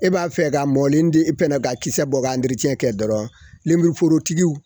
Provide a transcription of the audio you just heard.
E b'a fɛ ka mɔni di e fɛnɛ ka kisɛ bɔ kɛ dɔrɔn lenmuruforotigi